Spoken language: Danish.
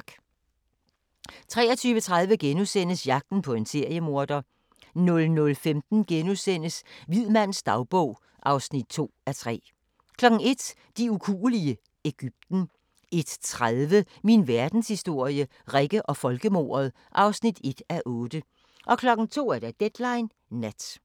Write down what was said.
23:30: Jagten på en seriemorder * 00:15: Hvid mands dagbog (2:3)* 01:00: De ukuelige – Egypten 01:30: Min verdenshistorie – Rikke og folkemordet (1:8) 02:00: Deadline Nat